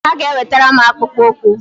Ha ga-ewetara m akpụkpọ ukwu